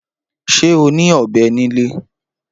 Ṣé o ní ọ̀bẹ nílé?